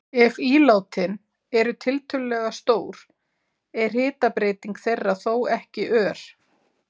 Ef ílátin eru tiltölulega stór er hitabreyting þeirra þó ekki ör.